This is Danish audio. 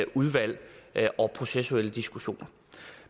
udvalg og processuelle diskussioner